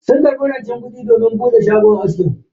Sun karbi rancen kudi domin bude shagon aski.